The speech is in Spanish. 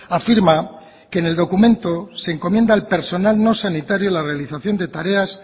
afirma que en el documento se encomienda al personal no sanitario la realización de tareas